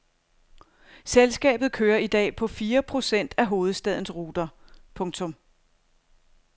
Selskabet kører i dag på fire procent af hovedstadens ruter. punktum